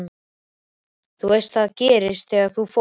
Þú veist að þetta gerðist þegar þú fórst.